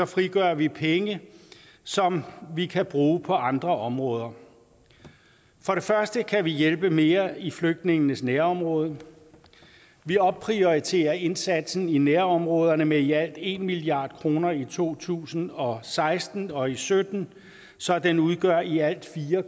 frigør vi penge som vi kan bruge på andre områder for det første kan vi hjælpe mere i flygtningenes nærområder vi opprioriterer indsatsen i nærområderne med i alt en milliard kroner i to tusind og seksten og og sytten så den udgør i alt fire